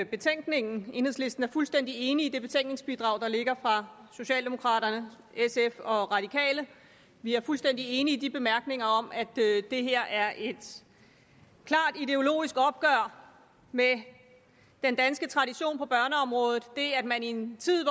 betænkningen enhedslisten er fuldstændig enig i det betænkningsbidrag der ligger fra socialdemokraterne sf og de radikale vi er fuldstændig enige i de bemærkninger om at det her er et klart ideologisk opgør med den danske tradition på børneområdet at man i en tid